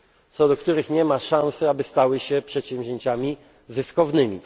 wsparcie dla przedsięwzięć, co do których nie ma szansy, aby stały się przedsięwzięciami